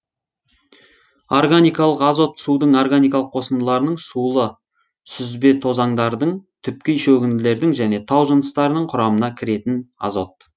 органикалың азот судың органикалық қосындыларының сулы сүзбетозаңдардың түпкей шөгінділердің және тау жыныстарының құрамына кіретін азот